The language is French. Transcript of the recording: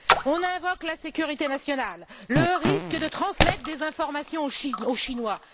On invoque la sécurité nationale, le risque de transmettre des informations aux Chinois.